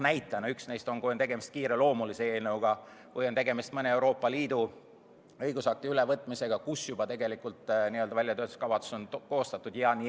Toon ühe näite: kui on tegemist kiireloomulise eelnõuga või mõne Euroopa Liidu õigusakti ülevõtmisega, mille kohta on väljatöötamiskavatsus tegelikult juba koostatud.